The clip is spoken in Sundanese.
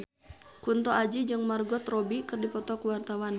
Kunto Aji jeung Margot Robbie keur dipoto ku wartawan